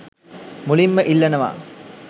මුලින්ම ඉල්ලනවා.